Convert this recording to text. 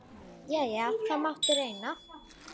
Jæja, það mátti reyna.